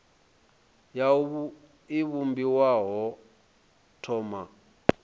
wua i vhumbiwa ho thoma